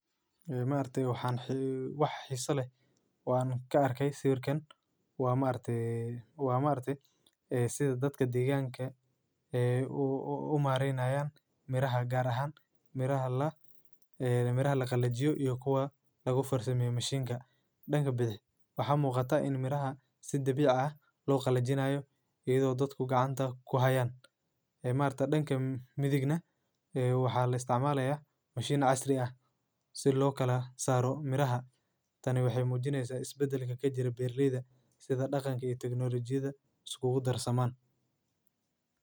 Ee maarte waxaan waa xiiso leh. Waa ka arkay siirkan. Waa maarte, waa maarte ee sida dadka deegaanka ee u maarayaan miraha gaar ahaan, miraha la, ee miraha la qallajyo iyo kuwa lagu fursami mashiinka dhanka badi. Waxa muuqata in miraha sidbi caada loo qallajinayo iyo dadku gacanta ku hayaan. Ee maarta dhanka midigna ee waxa la isticmaalaya mashiino casri ah si loo kala saaro miraha. Tani waxay muujinaysa isbedelka ka jira Beerliida sida dhaqanka iyo tignolajiyadda sugug darasamaan.